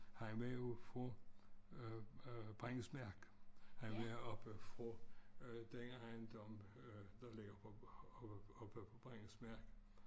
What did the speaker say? Han var jo fra øh Brandesmark han var oppe fra øh den ejendom øh der ligger på oppe på Brandesmark